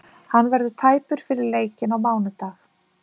Hann verður tæpur fyrir leikinn á mánudag.